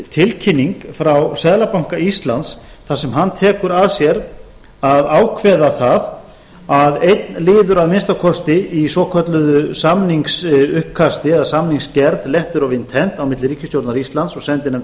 tilkynning frá seðlabanka íslands þar sem hann tekur að sér að ákveða það að einn liður að minnsta kosti í svokölluðu samningsuppkasti eða samningsgerð letter of intent á milli ríkisstjórnar íslands og sendinefndar